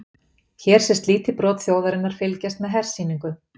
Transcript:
Hér sést lítið brot þjóðarinnar fylgjast með hersýningu.